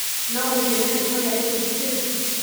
No ũnjĩĩre rĩĩtwa rĩa gĩkundi kĩu?